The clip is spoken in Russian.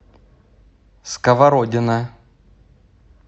сковородино